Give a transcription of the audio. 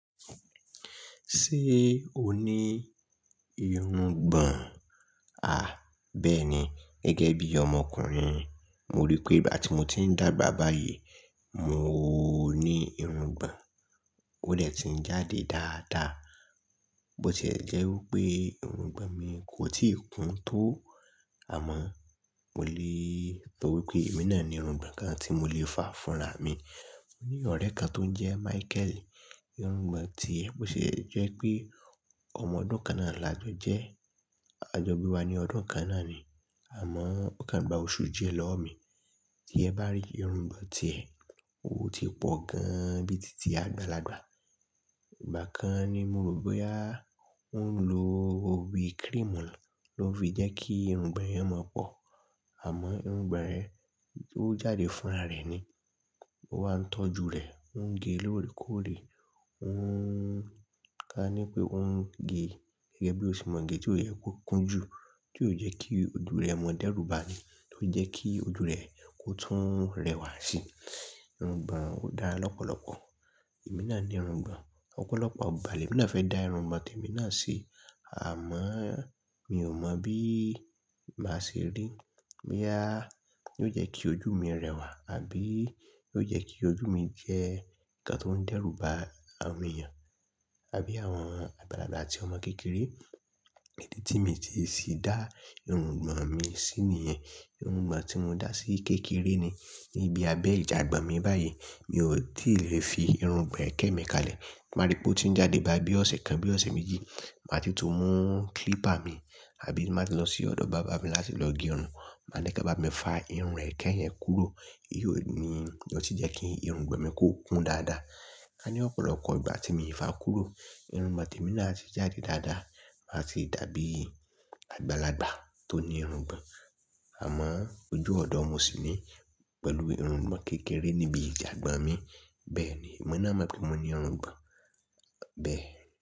Ṣé o ní irungbọ̀n? À, bẹ́ẹ̀ni gẹ́gẹ́ bí ọmọkùnrin. Mo rí i pé bí àti mo ti ń dàgbà báyìí, mo ní irungbọ̀n. Ó dè ti ń jáde dáadáa. Bó ti e jẹ́ wí pé irungbọ̀n mi kò tíì kún tó àmọ́ mo lè sọ wí pé èmi náà ní irungbọ̀n kan tí mo lè fà fúnra mi. Mo ní ọ̀rẹ́ kan tó ń jẹ́ Michael, irungbọ̀n ti ẹ bó ti jẹ́ pé ọmọ ọdún kan náà làjọjẹ́. A jọ bí wa ní ọdún kan náà ni. Àmọ́ ó kan gba oṣù díẹ̀ lọ́wọ́ mi. Tí ẹ bá rí irungbọ̀n ti ẹ, ó ti pọ̀ gan-an bíi tìtì àgbàlagbà. Ìgbà kan ni mo rò pé a ń lo ewì cream lọ fi jẹ́ kí irungbọ̀n ẹ mọ pọ̀. Àmọ́ irungbọ̀n rẹ̀, ó jáde fúnra rẹ̀ ni. Ó wá ń tọ́jú rẹ̀, ó ń gé lóòrèkóòrè, ó ń ká ní pé ó ń gé gẹ́gẹ́ bí o ṣe mọ gé tí ó yẹ kó kún jù tí ó yẹ kí ojú rẹ̀ mọ dẹ́rù ba ní, tí ó jẹ kí ojú rẹ̀ kó tún rẹwà sí. Irungbọ̀n ó dá lọ́pọ̀lọpọ̀. Èmi náà ní irungbọ̀n, ọ̀pọ̀lọpọ̀ igbà lè mi náà fẹ́ dá irungbọ̀n tí èmi náà ṣi. Àmọ́ mi ò mọ̀ bí màá ṣe rí. Bí a ló jẹ́ kí ojú mi rẹwà àbí ó jẹ́ kí ojú mi jẹ́ nǹkan tó ń dẹ́rù ba àwọn èèyàn àbí àwọn àgbàlagbà àti ọmọ kékeré. Èyí tí mi ti sì dá irungbọ̀n mi sí nìyẹn. Irungbọ̀n tí mo dá sí kékeré ni níbi abẹ́ ìjàgbon mi báyìí. Mi ò tí lè fi irungbọ̀n ẹkẹ mi kalẹ̀. Máa rí i pé ó ti ń jáde bá bí ọ̀sẹ̀ kan bí ọ̀sẹ̀ méjì. Màá ti tún mú clipper mi àbí ti n baá ti lọ sí ọ̀dọ̀ barber mi láti lọ gé irun. Màá ni ko bá mi fà irun ẹkẹ yẹn kúrò. Óun ni ó sì jẹ́ kí irungbọ̀n mi kó kún dáadáa. Ká ní ọ̀pọ̀lọpọ̀ ìgbà tí mo fa kúrò, irungbọ̀n tí èmi náà a ti jáde dáadáa. Máa ti dàbí àgbàlagbà tó ní irungbọ̀n. Àmọ́ ojú ọ̀dọ̀ ọmọ sì ní pẹ̀lú irungbọ̀n kékeré níbi ìjàgbon mi. Bẹ́ẹ̀ ni, èmi náà mọ̀ pé mo ní irungbọ̀n. Bẹ́ẹ̀.